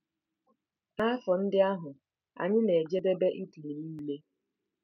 N'afọ ndị ahụ, anyị na-ejedebe Italy nile.